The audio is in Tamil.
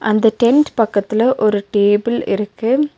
அந்த டென்ட் பக்கத்துல ஒரு டேபிள் இருக்கு.